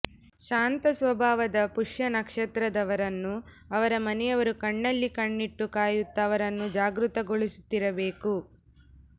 ಶಾಂತ ಸ್ವಭಾವದ ಪುಷ್ಯ ನಕ್ಷತ್ರದವರನ್ನು ಅವರ ಮನೆಯವರು ಕಣ್ಣಲ್ಲಿ ಕಣ್ಣಿಟ್ಟು ಕಾಯುತ್ತ ಅವರನ್ನು ಜಾಗೃತಗೊಳಿಸುತ್ತಿರಬೇಕು